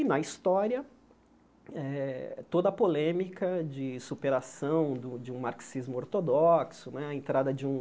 E, na história eh, toda a polêmica de superação do de um marxismo ortodoxo né, a entrada de um